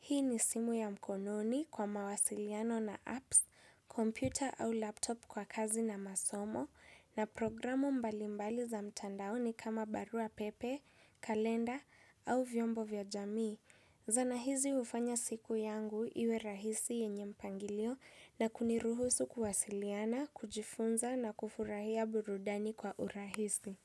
Hii ni simu ya mkononi kwa mawasiliano na appsi, kompyuta au laptopu kwa kazi na masomo, na programu mbalimbali za mtandaoni kama barua pepe, kalenda au vyombo vya jamii. Zana hizi hufanya siku yangu iwe rahisi yenye mpangilio na kuniruhusu kuwasiliana, kujifunza na kufurahia burudani kwa urahisi.